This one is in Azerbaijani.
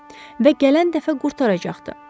Və gələn dəfə qurtaracaqdı.